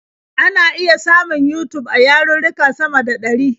Ana iya samun Yutub a yarurruka sama da ɗari.